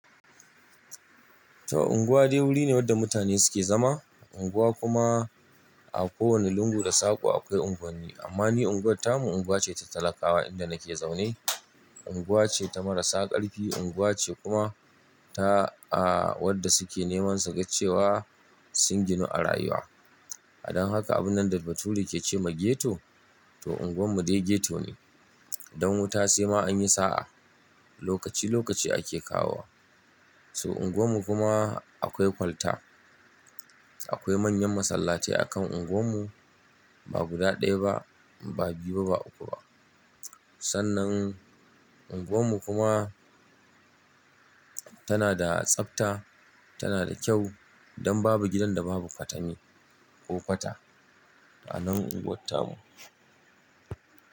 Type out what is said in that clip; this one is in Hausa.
To unguwa dai wuri ne wanda mutane suke zama. Unguwa kuma a kowane lungu da sako akwai unguwanni. Amma ni unguwar tamu unguwa ce ta talakawa inda nake zaune. Unguwa ce ta marasa karfi, unguwa ce kuma ta wadda suke neman suga cewa sun ginu a rayuwa. Dan haka abun nan da Bature ke ce ma ghetto, to unguwarmu dai ghetto ne. Don wuta sai ma an yi sa'a. Lokaci lokaci ake kawo wa. So unguwarmu kuma akwai kwalta. Akwai manyan masallatai akan unguwarmu, ba guda ɗaya ba, ba biyu ba, ba uku ba. Sannan unguwarmu kuma tana da tsabta, tana da kyau don babu gidan da babu katani ko fata a nan unguwar tamu.